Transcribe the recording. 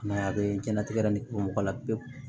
I m'a ye a bɛ diɲɛnatigɛ yɛrɛ ni o mɔgɔ la pewu